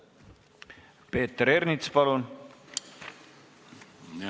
Peeter Ernits, palun!